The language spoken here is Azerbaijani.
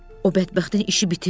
O bədbəxtin işi bitib.